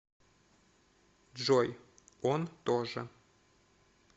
джой он тоже